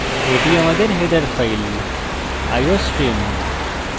এটি আমাদের header file iostream